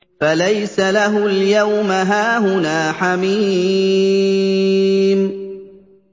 فَلَيْسَ لَهُ الْيَوْمَ هَاهُنَا حَمِيمٌ